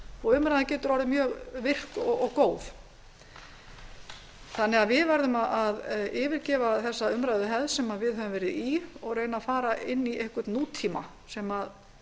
og umræðan getur orðið mjög virk og góð við verðum að hverfa frá umræðuhefðinni sem við höfum verið í og reyna að fara inn í nútímann sem